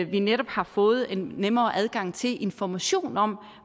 vi netop har fået en nemmere adgang til information om